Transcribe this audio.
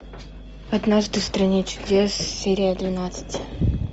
однажды в стране чудес серия двенадцать